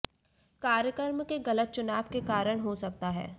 कार्यक्रम के गलत चुनाव के कारण हो सकता है